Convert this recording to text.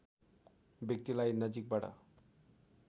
व्यक्तिलाई नजिकबाट